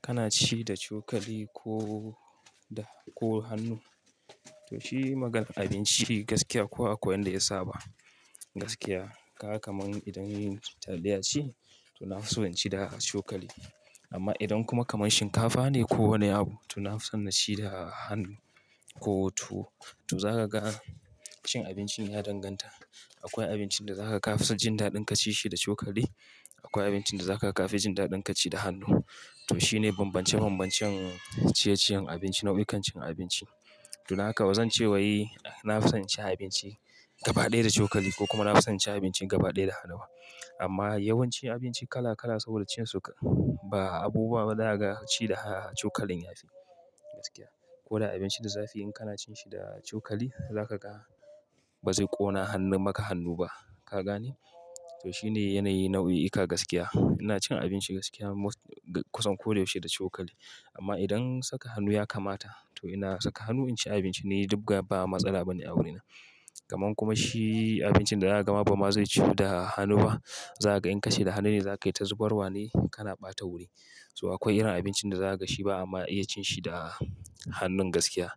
Kana ci da cokali ko da, ko hannu? Toh shi magan abinci gaskiya kowa akwai yanda ya saba gaskiya. Kaga kamar idan taliya ce toh na fi so in ci da cokali. Amma idan kuma kamar shinkafa ne ko wani abu toh na fi son na ci da hannu. Ko tuwo, toh za ka ga cin abincin ya danganta. Akwai abincin da za ka ka fi son cin daɗin ka ci shi da cokali. Akwai abincin da za ka ka fi jin daɗin ka ci da hannu. Toh shi ne bambance bambancen ciye ciyen abinci nau'ikan cin abinci. Toh naka ba zan ce wai, na fi son cin abinci gaba ɗaya da cokali ko kuma na fi son cin abincin gaba ɗaya da hannuwa. Amma yawancin abinci kala kala saboda cin su ba abubuwa ba za ga ci da cokalin ya fi gaskiya. Ko da abinci da zafi in kana cin shi da cokali za ka ga ba zai ƙona hannun maka hannu ba. Ka gane? Toh shi ne yanayi nau'ika gaskiya. Ina cin abinci gaskiya kusan kodayaushe da cokali. Amma idan saka hannu ya kamata toh ina saka hannu in ci abinci ne duk gaba matsala ba ne a wurina. Kaman kuma shi abincin da ya gama ba ma zai ci da hannu ba. Za ka ga in ka ci da hannu ne za ka yi ta zubarwa ne kana ɓata wuri. Toh akwai irin abincin da za ka gashi ba ama iya cin shi da hannun gaskiya.